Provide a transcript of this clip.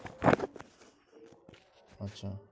আচ্ছা